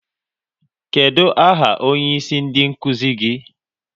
Kedụ aha onyeisi ndị nkuzi gị?